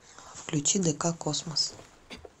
включи дк космос